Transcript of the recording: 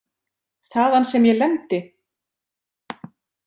Þaðan sem ég lendi?